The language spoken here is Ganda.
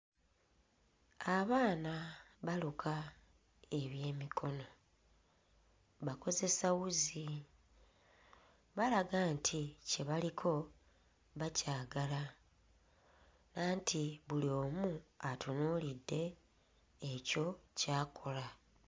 Abaana baluka ebyemikono, bakozesa wuzi. Balaga nti kye baliko bakyagala anti buli omu atunuulidde ekyo ky'akola.